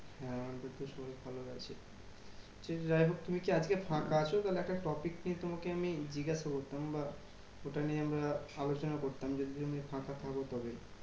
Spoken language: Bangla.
হ্যাঁ আমাদেরতো শরীর ভালোই আছে। সে যাই হোক তুমি কি আজকে ফাঁকা আছো? তালে একটা topic নিয়ে তোমাকে আমি জিজ্ঞাসা করতাম বা ওটা নিয়ে আমরা আলোচনা করতাম? যদি তুমি ফাঁকা থাকো তবে।